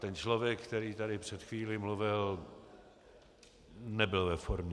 Ten člověk, který tady před chvílí mluvil, nebyl ve formě.